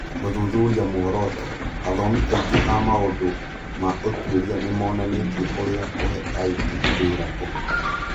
Gũthuthuria muoroto: Athomi aingĩ a maũndũ ma ũtuĩria nĩ monanĩtie ũrĩa kũhe aruti wĩra ũhoti,